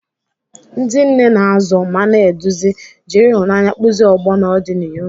Ndị nne na-azụ ma na-eduzi, jiri ịhụnanya kpụzie ọgbọ n'ọdịnihu.